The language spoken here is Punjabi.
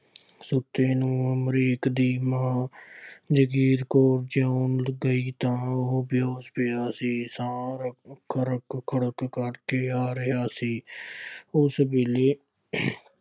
ਸੁੱਤੇ ਨੂੰ ਅਮਰੀਕ ਦੀ ਮਾਂ ਜਗੀਰ ਕੌਰ ਜਗਾਉਣ ਗਈ ਤਾਂ ਉਹ ਬੇਹੋਸ ਪਿਆ ਸੀ। ਸਾਹ ਰੁੱਕ ਰੁੱਕ ਖੜੁੱਕ ਕਰਕੇ ਆ ਰਿਹਾ ਸੀ। ਉਸ ਵੇਲੇ